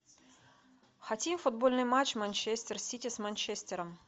хотим футбольный матч манчестер сити с манчестером